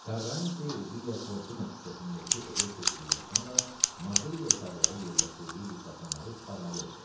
Karranti Via Fortuna küçəsindəki evə köçdükdən sonra Mazelli otaqları yerləşdirdiyi diktafonları çıxarmalı oldu.